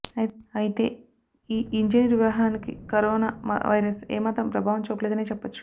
అయితే ఈ ఇంజనీర్ వివాహానికి కరోనా వైరస్ ఏ మాత్రం ప్రభావం చూపలేదనే చెప్పొచ్చు